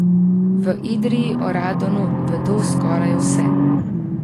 V Idriji o radonu vedo skoraj vse.